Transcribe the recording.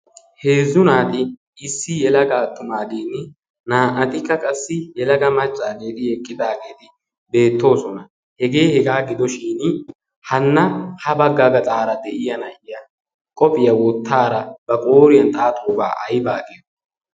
heezzu naati issi yelaga atxumaagin naanatikka qassi yelaga maccaageeti eqqidaageeti beettoosona? hegee hegaa gidoshin hanna ha bagga gaxaara de'iya na'iya qophiyaa woottaara ba qooriyan xaaxoobaa ayba agiyo?